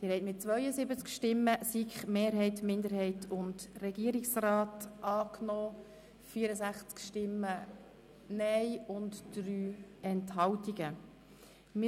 Sie haben den Antrag der BDP mit 72 Ja- gegen 64 Nein-Stimmen bei 3 Enthaltungen abgelehnt.